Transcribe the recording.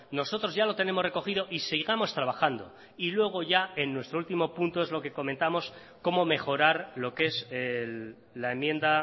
nosotros ya lo tenemos recogido y sigamos trabajando y luego ya en nuestro último punto es lo que comentamos cómo mejorar lo que es la enmienda